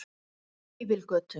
Fífilgötu